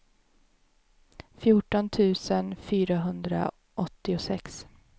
fjorton tusen fyrahundraåttiosex